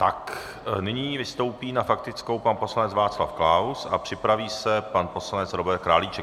Tak nyní vystoupí na faktickou pan poslanec Václav Klaus a připraví se pan poslanec Robert Králíček.